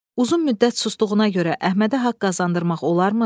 Uzun müddət susduğuna görə Əhmədə haqq qazandırmaq olarmı?